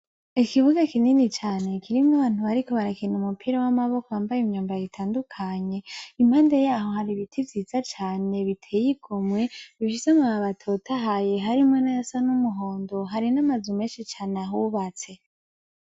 Ikibuga kinini cane kirimwo abantu bariko barakina umupira w'amaboko bambaye imyambaro itandukanye impande yaho hari ibiti vyiza cane biteye igomwe bifise amababi atotahaye harimwo nayasa n'umuhondo hari n'amazu meshi cane ahubatse.